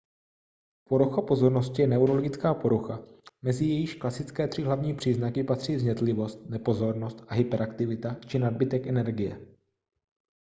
porucha pozornosti je neurologická porucha mezi jejíž klasické tří hlavní příznaky patří vznětlivost nepozornost a hyperaktivita či nadbytek energie